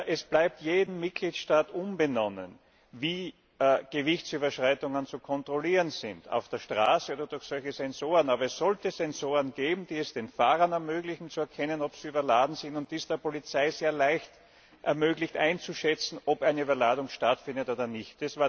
Es bleibt jedem Mitgliedstaat unbenommen, wie Gewichtsüberschreitungen zu kontrollieren sind, auf der Straße oder durch solche Sensoren, aber es sollte Sensoren geben, die es den Fahrern ermöglichen zu erkennen, ob sie überladen sind, und die es der Polizei sehr leicht ermöglichen einzuschätzen, ob eine Überladung vorliegt oder nicht.